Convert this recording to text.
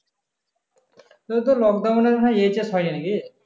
তোর তো লকডাউনে মনে হয় lockdown হয় নাকি?